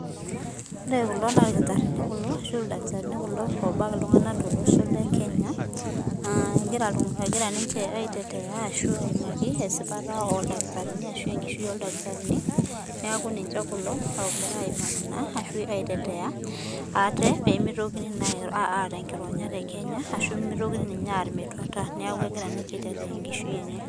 Wore kulo naa ilkitarini kulo arashu aa ildakitarini oobak iltunganak tolosho le Kenya, egira ninye aitetea arashu aimaki esipata ooldakitarini arashu enkishui oldakitarini. Neeku ninche kulo ookira aimaki naa arashu aitetea ate pee mitokini naa aata enkironya te Kenya arashu pee mitokini ninche aar metuata neeku ekira ninche aitetea enkishui enye.